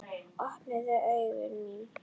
Opnuðu augu mín.